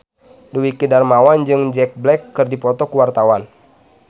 Dwiki Darmawan jeung Jack Black keur dipoto ku wartawan